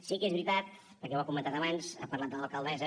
sí que és veritat perquè ho ha comentat abans ha parlat de l’alcaldessa